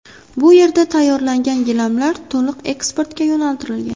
Bu yerda tayyorlangan gilamlar to‘liq eksportga yo‘naltirilgan.